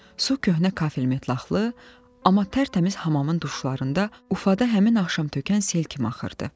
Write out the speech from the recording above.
Su qəhvəyi kafellə metlaxlı, amma tərtəmiz hamamın duşlarında ufada həmin axşam tökən sel kimi axırdı.